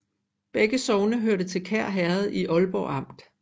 Begge sogne hørte til Kær Herred i Aalborg Amt